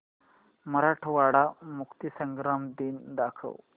मराठवाडा मुक्तीसंग्राम दिन दाखव